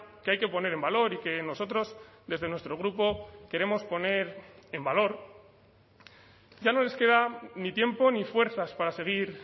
que hay que poner en valor y que nosotros desde nuestro grupo queremos poner en valor ya no les queda ni tiempo ni fuerzas para seguir